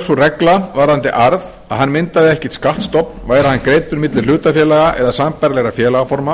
sú regla varðandi arð að hann myndaði ekki skattstofn væri hann greiddur milli hlutafélaga eða sambærilegra félagsform